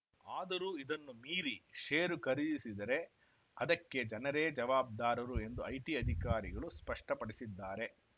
ಆದರೂ ಇದನ್ನು ಮೀರಿ ಷೇರು ಖರೀದಿಸಿದರೆ ಅದಕ್ಕೆ ಜನರೇ ಜವಾಬ್ದಾರರು ಎಂದು ಐಟಿ ಅಧಿಕಾರಿಗಳು ಸ್ಪಷ್ಟಪಡಿಸಿದ್ದಾರೆ